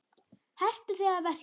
Hertu þig að verki!